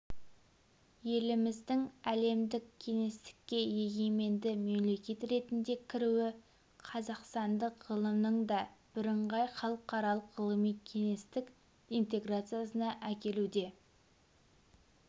еліміздің әлемдік кеңістікке егеменді мемлекет ретінде кіруі қазақстандық ғылымның да бірыңғай халықаралық ғылыми кеңістік интеграциясына әкелуде